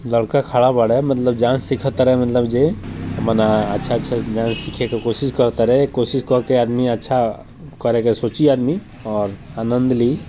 लड़का खड़ा बाड़े मतलब जहाँ से सीखा तारे मतलब जी मने अच्छा-अच्छा डांस सीखे के कोशिश कर तारे कोशिश करके आदमी अच्छा करेके सोची आदमी और आनंद ली।